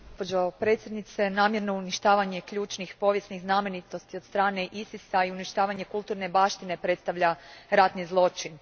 Gospođo predsjednice, namjerno uništavanje ključnih povijesnih znamenitosti od strane ISIS a i uništavanje kulturne baštine predstavlja ratni zločin.